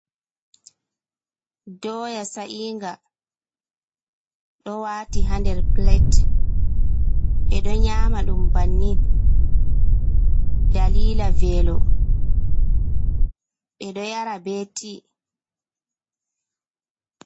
Doya sa’inga ɗo wati ha nder Pilet ɓe ɗo nyama ɗum bannin dalila velo ɓe ɗo yara be ti.